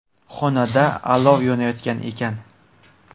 Xonada olov yonayotgan ekan.